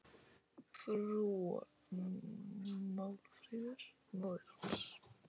Móðir hans, Málfríður